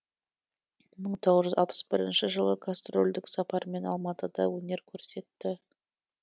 мың тоғыз жүз алпыс бірінші жылы гастрольдік сапармен алматыда өнер көрсетті